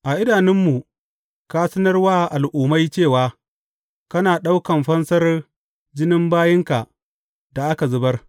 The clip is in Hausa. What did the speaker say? A idanunmu, ka sanar wa al’ummai cewa kana ɗaukan fansar jinin bayinka da aka zubar.